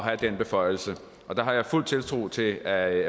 have den beføjelse der har jeg fuld tiltro til at